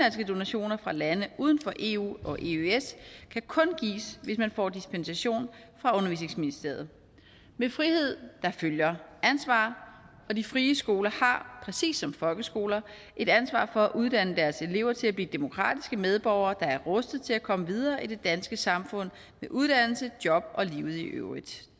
donationer fra lande uden for eu og eøs kan kun gives hvis man får dispensation fra undervisningsministeriet med frihed følger ansvar og de frie skoler har præcis som folkeskoler et ansvar for at uddanne deres elever til at blive demokratiske medborgere der er rustet til at komme videre i det danske samfund med uddannelse job og livet i øvrigt